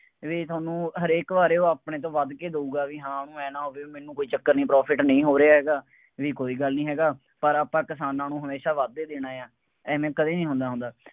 ਬਈ ਤੁਹਾਨੁੂੰ ਹਰੇਕ ਵਾਰ ਉਹ ਆਪਣੇ ਤੋਂ ਵੱਧ ਕੇ ਦੇਊਗਾ, ਬਈ ਹਾਂ ਉਹਨੂੰ ਆਏਂ ਨਾ ਹੋਵੇ, ਮੈਨੂੰ ਕੋਈ ਚੱਕਰ ਨਹੀਂ, profit ਨਹੀਂ ਹੋ ਰਿਹਾ ਹੈਗਾ, ਬਈ ਕੋਈ ਗੱਲ ਨਹੀਂ ਹੈਗਾ, ਪਰ ਆਪਾਂ ਕਿਸਾਨਾਂ ਨੂੰ ਹਮੇਸ਼ਾਂ ਵੱਧ ਹੀ ਦੇਣਾ ਹੈ, ਐਵੇਂ ਕਦੇ ਨਹੀਂ ਹੁੰਦਾ ਹੁੰਦਾ।